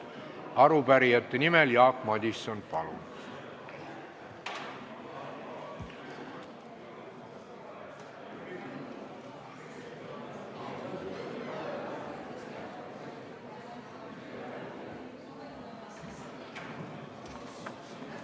Arupärijate nimel Jaak Madison, palun!